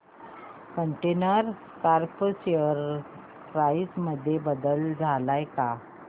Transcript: container Corp share price मध्ये बदल आलाय का